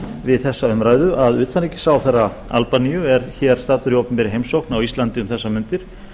við þessa umræðu að utanríkisráðherra albaníu er hér staddur í opinberri heimsókn á íslandi um þessar mundir